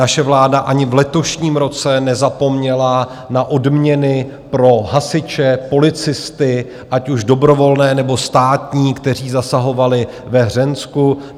Naše vláda ani v letošním roce nezapomněla na odměny pro hasiče, policisty, ať už dobrovolné, nebo státní, kteří zasahovali ve Hřensku.